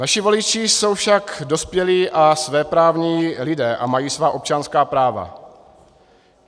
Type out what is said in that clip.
Naši voliči jsou však dospělí a svéprávní lidé a mají svá občanská práva.